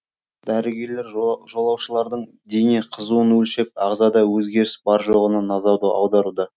дәрігерлер жолаушылардың дене қызуын өлшеп ағзада өзгеріс бар жоғына назарды аударуда